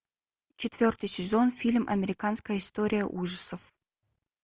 четвертый сезон фильм американская история ужасов